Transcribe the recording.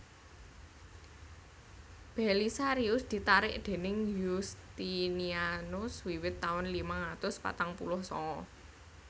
Belisarius ditarik déning Yustinianus wiwit taun limang atus patang puluh sanga